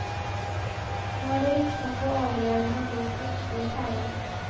Nå er det viktig å få de overlevende om bord for ytterligere pleie.